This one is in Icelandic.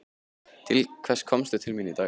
Til hvers komstu til mín í dag?